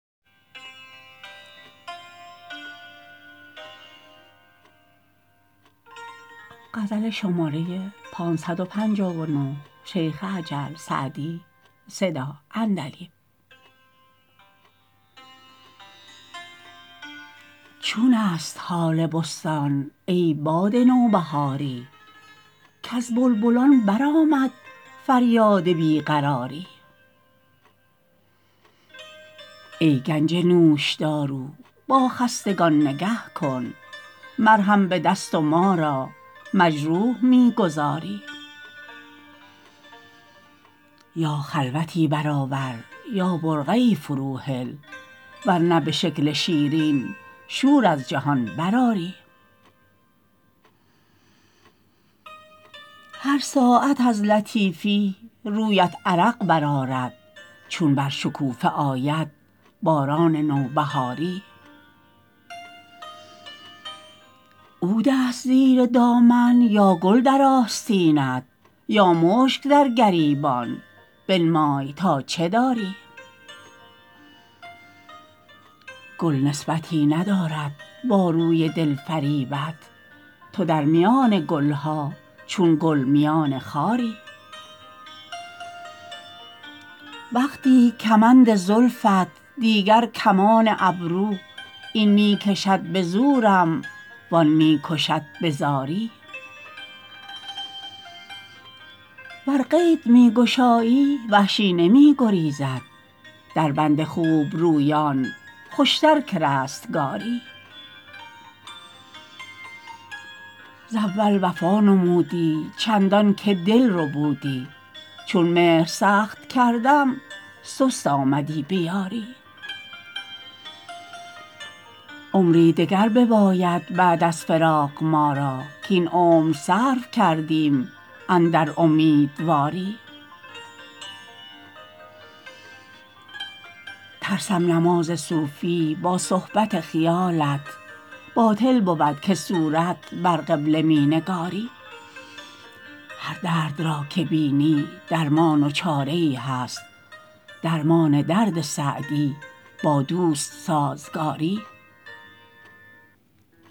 چون است حال بستان ای باد نوبهاری کز بلبلان برآمد فریاد بی قراری ای گنج نوشدارو با خستگان نگه کن مرهم به دست و ما را مجروح می گذاری یا خلوتی برآور یا برقعی فروهل ور نه به شکل شیرین شور از جهان برآری هر ساعت از لطیفی رویت عرق برآرد چون بر شکوفه آید باران نوبهاری عود است زیر دامن یا گل در آستینت یا مشک در گریبان بنمای تا چه داری گل نسبتی ندارد با روی دل فریبت تو در میان گل ها چون گل میان خاری وقتی کمند زلفت دیگر کمان ابرو این می کشد به زورم وآن می کشد به زاری ور قید می گشایی وحشی نمی گریزد در بند خوبرویان خوشتر که رستگاری ز اول وفا نمودی چندان که دل ربودی چون مهر سخت کردم سست آمدی به یاری عمری دگر بباید بعد از فراق ما را کاین عمر صرف کردیم اندر امیدواری ترسم نماز صوفی با صحبت خیالت باطل بود که صورت بر قبله می نگاری هر درد را که بینی درمان و چاره ای هست درمان درد سعدی با دوست سازگاری